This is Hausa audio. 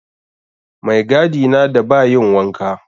Maigadi na da bayin wanka